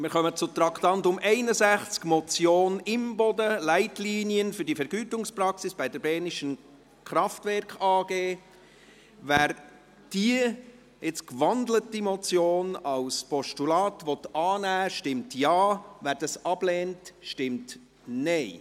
Wir kommen zum Vorstoss Imboden, «Leitlinien für die Vergütungspraxis bei der Bernischen Kraftwerke AG» Wer diese Motion als Postulat annehmen will, stimmt Ja, wer dies ablehnt, stimmt Nein.